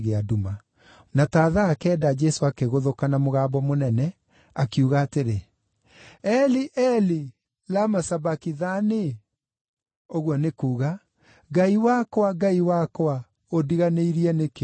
Na ta thaa kenda Jesũ akĩgũthũka na mũgambo mũnene, akiuga atĩrĩ, “Eli, Eli, lama sabakithani?” (Ũguo nĩ kuuga, “Ngai wakwa, Ngai wakwa, ũndiganĩirie nĩkĩ?”)